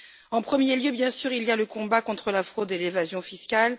En premier lieu, bien sûr, il y a le combat contre la fraude et l'évasion fiscale.